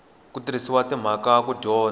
ku tirhisa timhaka ku dyondza